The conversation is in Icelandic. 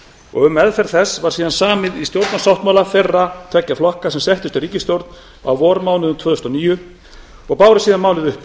og um meðferð þess var síðan samið í stjórnarsáttmála þeirra tveggja flokka sem settust í ríkisstjórn á vormánuðum tvö þúsund og níu og báru síðan málið uppi